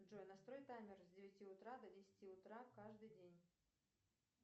джой настрой таймер с девяти утра до десяти утра каждый день